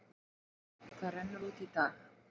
Það rennur út í dag.